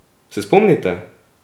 Se spomnite?